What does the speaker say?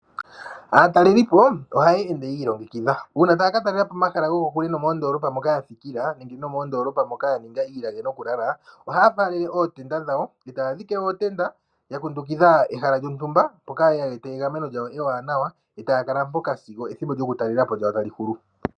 Aatalelipo ohaya ende yi ilongekidha. Uuna taya ka talela po omahala gokokule nenge moondoolopa moka ya thikila nenge nomoondoolopa moka ya ninga iilage nokulala ohaya faalele ootenda dhawo e taya dhike ootenda ya kundukidha ehala lyontumba mpoka ye wete egameno lyawo ewanawa e taya kala mpoka sigo etalele po lyawo tali hulu.